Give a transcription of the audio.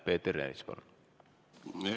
Peeter Ernits, palun!